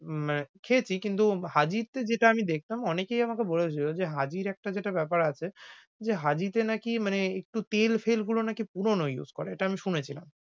আহ খেয়েছি কিন্তু হাজীতে যেটা আমি দেখলাম অনেকেই আমাকে বলেছিল, যে হাজীর একটা যেটা বেপার আছে। যে হাজীতে নাকি মানে একটু তেল ফেল গুলো নাকি পুরনো use করে এটা আমি শুনেছিলাম।